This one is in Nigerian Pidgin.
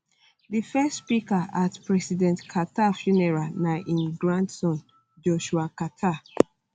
di first speaker at um president um carter funeral na im grandson joshua carter